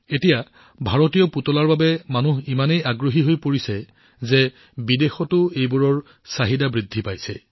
আজিকালি ভাৰতীয় পুতলাবোৰ ইমানেই জনপ্ৰিয় হৈ পৰিছে যে বিদেশতো এইবোৰৰ চাহিদা বৃদ্ধি পাইছে